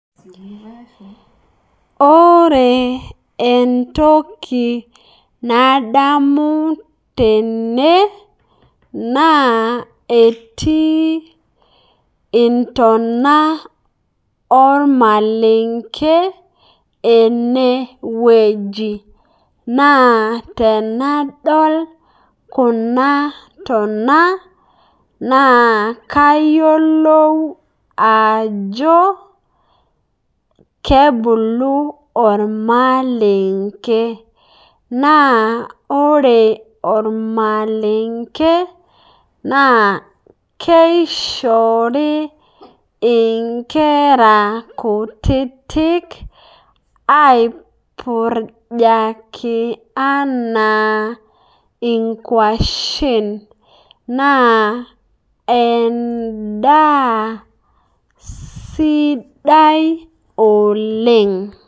Ore entokii nadamu tene naa etii entonaa omalengee ene wueji. Naa tanadol kuna ntonaa naa kaiyelou ajoo kebuluu omalengee, naa ore omalengee naa keishoori enkaare kutitik aiburujaaki ana enkuashen. Naa endaa sidai oleng.